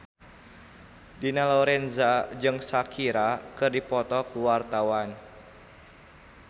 Dina Lorenza jeung Shakira keur dipoto ku wartawan